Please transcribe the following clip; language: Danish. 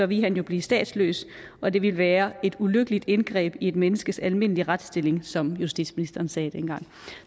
ville han jo blive statsløs og det ville være et ulykkeligt indgreb i et menneskes almindelige retsstilling som justitsministeren sagde dengang